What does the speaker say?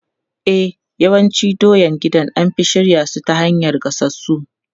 E, yawancin doyan gida an fi shirya su ta hanyar gasassu.